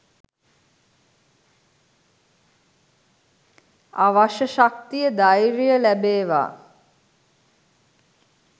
අවශ්‍ය ශක්තිය ධෛර්‍යය ලැබේවා